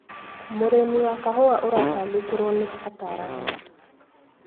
Mũrimũ wa kahũa ũratangĩkĩrwo nĩ ataramu.